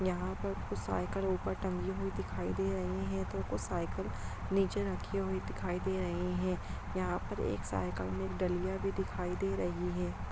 यहाँ पर कुछ साइकिल ऊपर टंगी हुई दिखाई दे रही है तो कुछ साइकिल नीचे रखी हुई दिखाई दे रही है यहाँ पर एक साइकिल में एक डलियां भी दिखाई दे रही है।